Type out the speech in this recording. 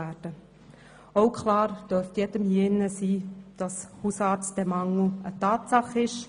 Jedem hier dürfte auch klar sein, dass der Hausärztemangel eine Tatsache ist.